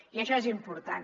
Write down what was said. i això és important